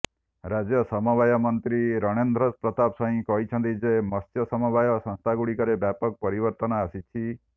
ରାଜ୍ୟ ସମବାୟ ମନ୍ତ୍ରୀ ରଣେନ୍ଦ୍ର ପ୍ରତାପ ସ୍ୱାଇଁ କହିଛନ୍ତି ଯେ ମତ୍ସ୍ୟ ସମବାୟ ସଂସ୍ଥାଗୁଡ଼ିକରେ ବ୍ୟାପକ ପରିବର୍ତ୍ତନ ଆସିଛି